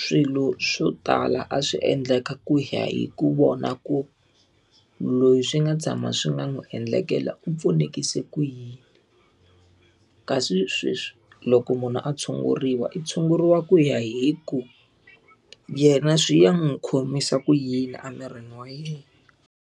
Swilo swo tala a swi endlaka ku ya hi ku vona ku loyi swi nga tshama swi nga n'wi endlekela u pfunekise ku yini. Kasi sweswi loko munhu a tshunguriwa i tshunguriwa ku ya hi ku, yena swi ya n'wi khomisa ku yini emirini wa yena.